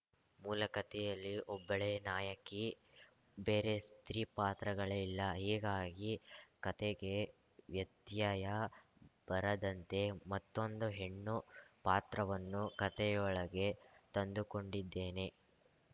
ಮೂಲಕತೆಯಲ್ಲಿ ಒಬ್ಬಳೇ ನಾಯಕಿ ಬೇರೆ ಸ್ತ್ರೀಪಾತ್ರಗಳೇ ಇಲ್ಲ ಹೀಗಾಗಿ ಕತೆಗೆ ವ್ಯತ್ಯಯ ಬರದಂತೆ ಮತ್ತೊಂದು ಹೆಣ್ಣು ಪಾತ್ರವನ್ನು ಕತೆಯೊಳಗೆ ತಂದುಕೊಂಡಿದ್ದೇನೆ